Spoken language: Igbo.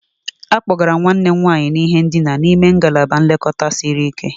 A kpọgara nwanne m nwanyị n'ihe ndina n'ime ngalaba nlekọta siri ike